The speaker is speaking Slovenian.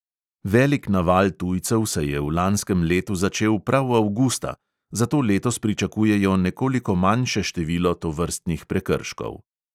Velik naval tujcev se je v lanskem letu začel prav avgusta, zato letos pričakujejo nekoliko manjše število tovrstnih prekrškov.